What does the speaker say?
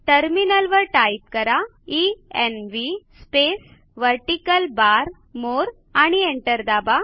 टर्मिनलवर टाईप करा env space vertical bar more आणि एंटर दाबा